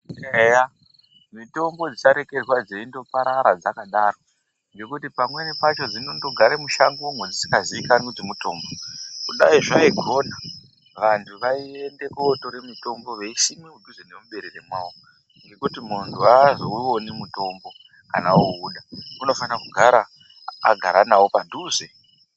Eya mitombo dzisarekerwa dzeindo parara dzakadaro ngekuti pamweni pacho dzinondogare mushango mwedzisingazikanwi kuti mutombo. Kudai zvaikona vantu vaiende kotore mutombo veisime mudhuze nemu berere mwawo mwo ngekuti muntu azowuwoni mutombo kana owuda unofana kugara agara nawo padhuze.